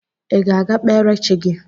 Ị ga-aga kpere chi gị?